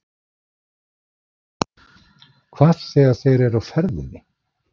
Hvað þegar þeir eru á ferðinni?